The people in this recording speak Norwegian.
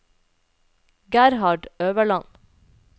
Gerhard Øverland